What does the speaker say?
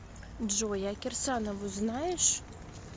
джой а кирсанову знаешь